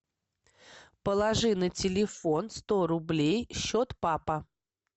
положи на телефон сто рублей счет папа